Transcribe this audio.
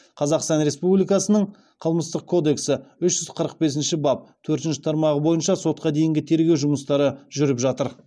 қазақстан республикасының қылмыстық кодексі үш жүз қырық бесінші бап төртінші тармағы бойынша сотқа дейінгі тергеу жұмыстары жүріп жатыр